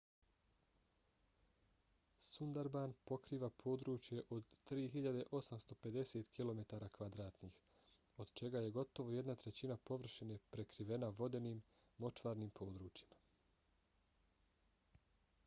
sundarban pokriva područje od 3.850 km² od čega je gotovo jedna trećina površine prekrivena vodenim/močvarnim područjima